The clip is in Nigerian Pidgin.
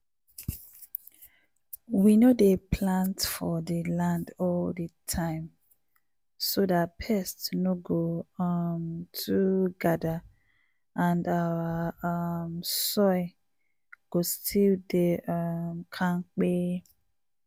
we no dey plant for dnland all di time so dat pest no goo um too gather and our um soil go still dey um kampe!.